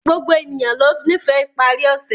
Gbogbo ènìyàn lọ nífẹ̀ iparí ọṣẹ̀